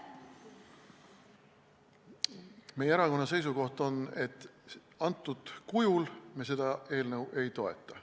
Meie erakonna seisukoht on see, et antud kujul me seda eelnõu ei toeta.